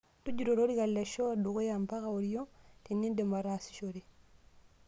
Tujuto olorika le shoo dukuya mpaka oriong tenindip ataasishore.